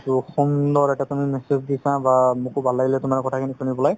ট সুন্দৰ এটা তুমি message দিছা বা সোব ভাল লাগিলে তুমাৰ কথা খিনি শুনি পেলাই